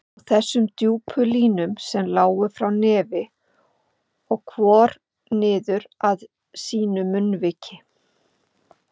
Og þessum djúpu línum sem lágu frá nefi og hvor niður að sínu munnviki.